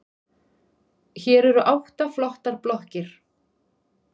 Hér eru átta flottar blokkir.